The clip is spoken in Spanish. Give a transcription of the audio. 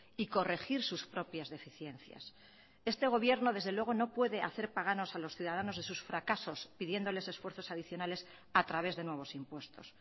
y corregir sus propias deficiencias este gobierno desde luego no puede hacer paganos a los ciudadanos de sus fracasos pidiéndoles esfuerzos adicionales a través de nuevos impuestos